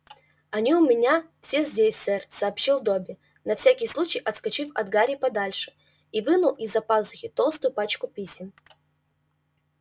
они у меня все здесь сэр сообщил добби на всякий случай отскочив от гарри подальше и вынул из-за пазухи толстую пачку писем